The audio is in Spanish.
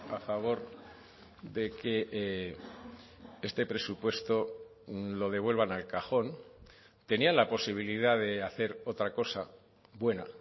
a favor de que este presupuesto lo devuelvan al cajón tenían la posibilidad de hacer otra cosa buena